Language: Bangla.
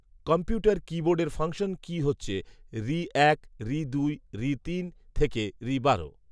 কম্পিউটার কী বোর্ডের ফাংশন কী হচ্ছে ঋ এক, ঋ দুই , ঋ তিন থেকে ঋ বারো